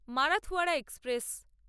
Marathwada express